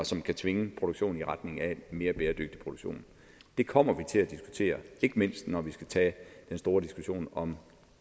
som kan tvinge produktionen i retning af en mere bæredygtig produktion det kommer vi til at diskutere ikke mindst når vi skal tage den store diskussion om